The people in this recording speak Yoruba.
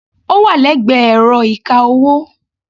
Ó wà lẹ́gbẹ̀ẹ́ ẹ̀rọ ìka-owó.